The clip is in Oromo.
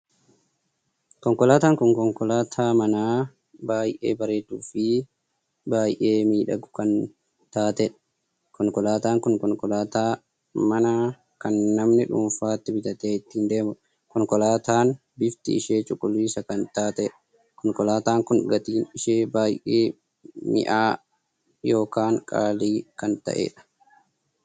Konkolaataan kun konkolaataa manaa baay'ee bareedduu fi baay'ee miidhaguu kan taateedha. konkolaataan kun konkolaataan mana kan namni dhuunfaatti bitatee ittiin deemuudha. konkolaataan bifti ishee cuquliisa kan taateedha. konkolaataan Kun gatiin ishee baay'ee minya'a ykn qaalii kan taheedha.